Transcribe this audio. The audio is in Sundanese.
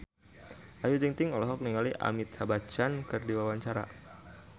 Ayu Ting-ting olohok ningali Amitabh Bachchan keur diwawancara